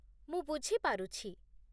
ମୁଁ ବୁଝି ପାରୁଛି।